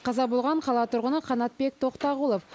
қаза болған қала тұрғыны қанатбек тоқтағұлов